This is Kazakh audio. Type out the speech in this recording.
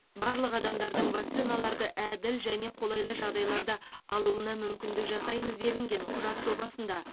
барлық адамдардың вакциналарды әділ және қолайлы жағдайларда алуына мүмкіндік жасаймыз делінген құжат жобасында